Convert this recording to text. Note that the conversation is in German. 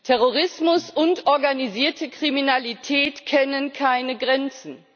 Terrorismus und organisierte Kriminalität kennen keine Grenzen.